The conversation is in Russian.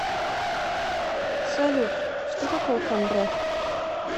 салют что такое камбре